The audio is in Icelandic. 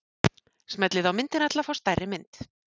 Smellið á myndina til að fá stærri mynd.